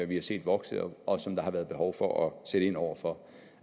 vi har set vokse og og som der har været behov for at sætte ind over for